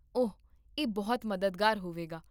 ਓਹ, ਇਹ ਬਹੁਤ ਮਦਦਗਾਰ ਹੋਵੇਗਾ